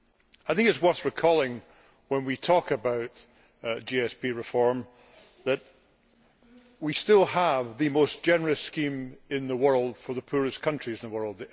It is worth recalling, when we talk about GSP reform, that we still have the most generous scheme in the world for the poorest countries in the world.